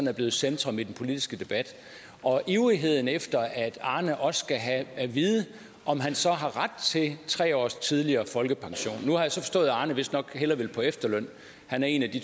er blevet centrum i den politiske debat og ivrigheden efter at arne også skal have at vide om han så har ret til tre års tidligere folkepension nu har jeg så forstået at arne vistnok hellere vil på efterløn han er en af de